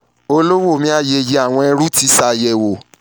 olówó mi ayeye awọn ẹ̀rù ti ṣayẹwo